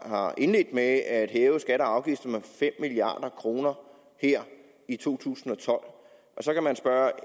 har indledt med at hæve skatter og afgifter med fem milliard kroner her i to tusind og tolv så kan man spørge